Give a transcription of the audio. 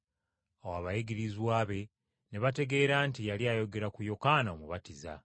Awo abayigirizwa be ne bategeera nti yali ayogera ku Yokaana Omubatiza.